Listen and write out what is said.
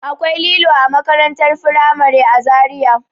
Akwai lilo a makarantar firamare a Zariya.